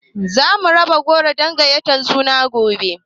Zamu raba goro na gayatar suna gobe